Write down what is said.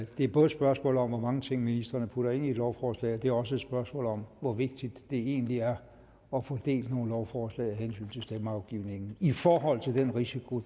det er både et spørgsmål om hvor mange ting ministrene putter ind i et lovforslag og det er også et spørgsmål om hvor vigtigt det egentlig er at få delt nogle lovforslag af hensyn til stemmeafgivningen i forhold til den risiko